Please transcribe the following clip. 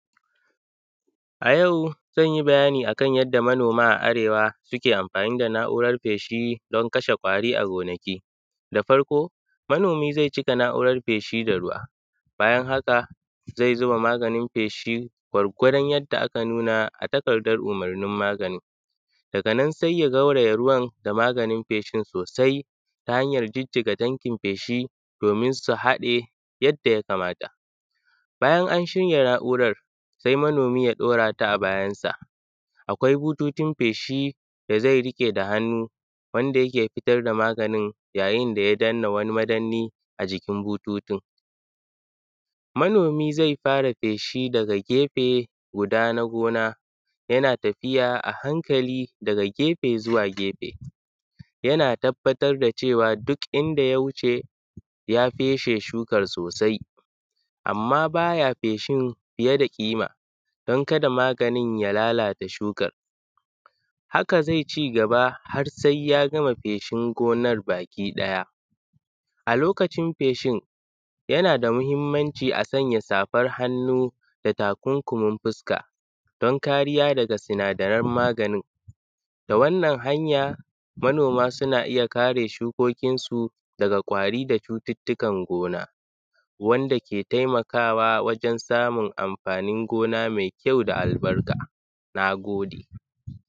A yau zan bayani akan yadda manoma a Arewa suke amfaani da na’urar feshi don kashe ƙwari a gonaki. Da farko manomi zai cika na’urar feshi da ruwa bayan haka zai zuba maganin feshi gwargwadon yadda aka nuna a takardar umurnin magannin daga nan sai ya gauraya ruwan da maganin feshin soosai ta hanyar jijjiga tankin feshi doomin su haɗe yadda ya kamata. Bayan an shirya na’urar sai manomi ya ɗaura ta a bayansa akwai bututun feshi da zai riƙe da hannu wanda yake fitar da maganin yayin da ya danna wani madanni a jikin bututun. Manomi zai fara feshi daga gefe guda na gona yana tafiya a hankali daga gefe zuwa gefe yana tabbatar da cewa duk inda ya wuce ya feshe shukan soosai amma baya feshin fiye da ƙima don kada maganin ya lalata shukan. Haka zai cigaba har sai ya gama feshin gonar baki ɗaya a lokacin feshin yana da muhimmanci a sanya safar hannu da takunkumin fuska don kariya daga sinadaran maganin, da wannan hanya manoma suna iya kare shukokin su daga ƙwaari da cututtukan gona wanda ke taimakawa wajen samun amfaanin gona mai kyau da albarka, nagode.